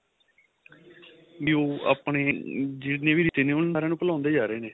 B ਉਹ ਆਪਣੇ ਜਿੰਨੇ ਵੀ ਰਿਸ਼ਤੇ ਨੇ ਉਹਨਾ ਸਾਰੀਆਂ ਨੂੰ ਭੁਲਾਂਦੇ ਜਾ ਰਹੇ ਨੇ